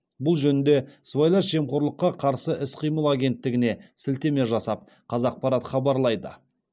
бұл жөнінде сыбайлас жемқорлыққа қарсы іс қимыл агенттігіне сілтеме жасап қазақпарат хабарлайды